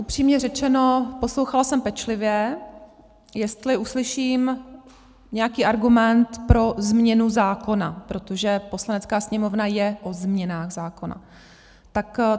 Upřímně řečeno, poslouchala jsem pečlivě, jestli uslyším nějaký argument pro změnu zákona, protože Poslanecká sněmovna je o změnách zákona.